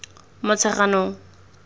motsheganong